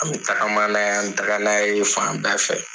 An bɛ tagama na ye an bɛ taga n'a ye fan bɛɛ fɛ.